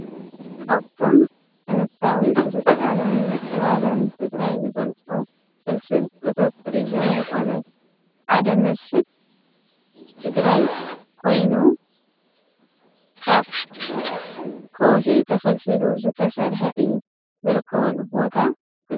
ካብቶም ጥንታዊ ስልጣነን ምዕባለን ትግራይ ዝገልፁ ፍልፍል እቶት ቱሪዝም ዝኮነ ሓደ መስሕብ ትግራይ ኮይኑ ካብ ከውሒ ተፈልፊሉ ዝተሰርሐ እዩ፡፡ ዝርከበሉ ቦታ ግለፅ?